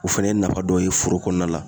O fɛnɛ ye nafa dɔ ye foro kɔnɔna la